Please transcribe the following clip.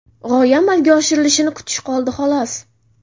G‘oya amalga oshirilishini kutish qoldi, xolos.